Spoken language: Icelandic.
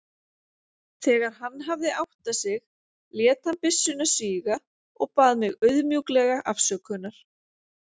Þegar hann hafði áttað sig lét hann byssuna síga og bað mig auðmjúklega afsökunar.